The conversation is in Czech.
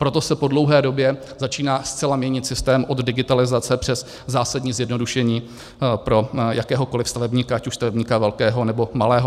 Proto se po dlouhé době začíná zcela měnit systém od digitalizace přes zásadní zjednodušení pro jakéhokoliv stavebníka, ať už stavebníka velkého, nebo malého.